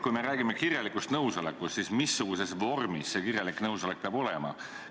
Kui me räägime kirjalikust nõusolekust, siis missuguses vormis see kirjalik nõusolek peab olema.